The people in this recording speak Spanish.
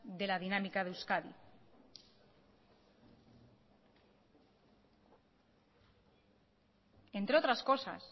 de la dinámica de euskadi entre otras cosas